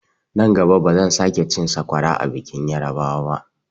Nan gaba bazan sake cin sakwara a bikin yarbawa ba.